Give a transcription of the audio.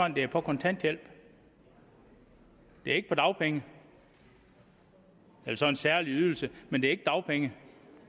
at det er på kontanthjælp det er ikke på dagpenge det er så en særlig ydelse men det er ikke dagpenge